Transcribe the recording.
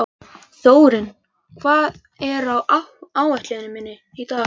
Þórinn, hvað er á áætluninni minni í dag?